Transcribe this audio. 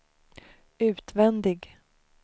utvändig